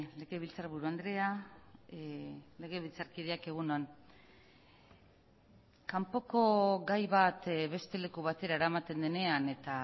legebiltzarburu andrea legebiltzarkideak egun on kanpoko gai bat beste leku batera eramaten denean eta